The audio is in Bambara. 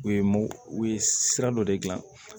U ye u ye sira dɔ de dilan